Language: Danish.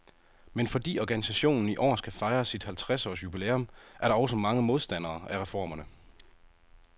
Men fordi organisationen i år skal fejre sit halvtreds års jubilæum, er der også mange modstandere af reformerne.